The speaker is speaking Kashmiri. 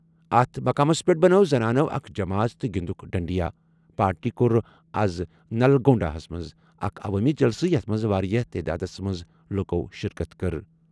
اتھ مقامس پٮ۪ٹھ بنٲو زنانَو اکھ جمٲژ تہٕ گِنٛدُکھ ڈنڈیا ۔ پارٹی کوٚر آز نلگونڈا ہَس منٛز اکھ عوٲمی جلسہٕ یَتھ منٛز واریٛاہ تعدادَس منٛز لُکو شِرکت کٔر۔